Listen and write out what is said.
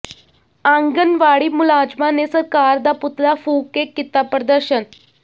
ਆਂਗਣਵਾੜੀ ਮੁਲਾਜ਼ਮਾਂ ਨੇ ਸਰਕਾਰ ਦਾ ਪੁਤਲਾ ਫ਼ੂਕ ਕੇ ਕੀਤਾ ਪ੍ਰਦਰਸ਼ਨ